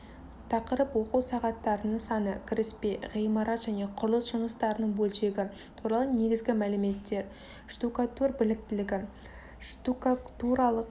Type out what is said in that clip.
тақырып оқу сағаттарының саны кіріспе ғимарат және құрылыс жұмыстарының бөлшегі туралы негізгі мәліметтер штукатур біліктілігі штукатуралық